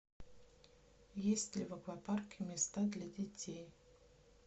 есть ли в аквапарке места для детей